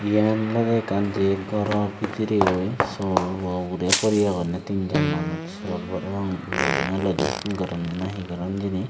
yan olode ekkan goro bidire o sol o ugure puri agonne tinjon manus sol parapang loding anlodi gorone nahi goronne hijeni.